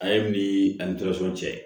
A ye min ani cɛ